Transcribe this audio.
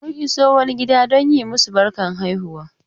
Mun iso wani gida don yi masu barkar haihuwa.